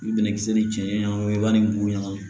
I bi bɛnɛ kisɛ ni cɛ ɲɛnba ni buɲɛnw ye